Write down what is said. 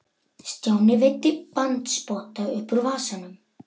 Stjáni veiddi bandspotta upp úr vasanum.